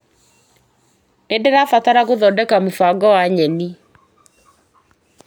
Nĩndĩrabatara gũthodeka mũbango wa nyeni .